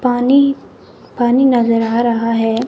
पानी पानी नज़र आ रहा है।